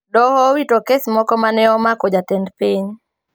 Doho owito kes moko ma ne omako jatend piny